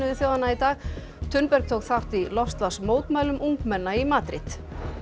þjóðanna í dag tók þátt í ungmenna í Madríd